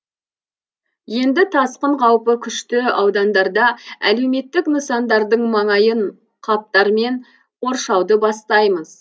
енді тасқын қаупі күшті аудандарда әлеуметтік нысандардың маңайын қаптармен қоршауды бастаймыз